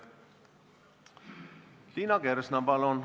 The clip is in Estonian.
Liina Kersna, palun!